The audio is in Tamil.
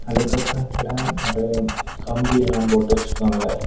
அதுக்கு ஃப்ரென்ட்ல நெறைய கம்பியெல்லாம் போட்டு வச்சிருக்காங்க.